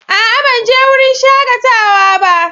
A'a! Ban je wurin shakatawa ba.